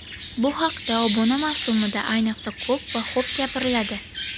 Bu haqda obuna mavsumida ayniqsa, ko‘p va xo‘p gapiriladi.